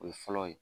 O ye fɔlɔ ye